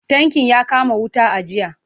Tankin ya kama wuta a jiya.